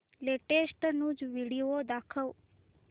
latest news video दाखव